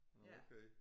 Nåh okay